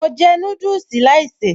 Mo jẹ́ núdùsì láìsèé